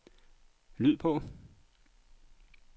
lyd på